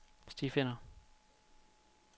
stifinder